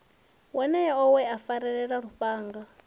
wonoyo we a farelwa lufhanga